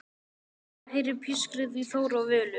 Gumma og heyrir pískrið í Þóru og Völu.